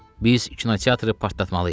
Biz kinoteatrı partlatmalıyıq.